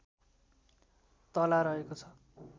तला रहेको छ